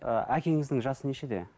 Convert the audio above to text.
ы әкеңіздің жасы нешеде